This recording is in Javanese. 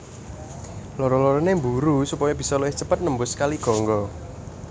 Loro lorone mburu supaya bisa luwih cepet nembus Kali Gangga